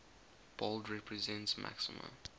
bold represents maxima